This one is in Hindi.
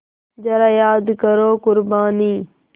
ज़रा याद करो क़ुरबानी